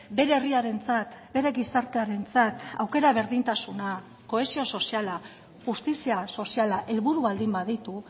bere herriarentzat bere gizartearentzat aukera berdintasuna kohesio soziala justizia soziala helburu baldin baditu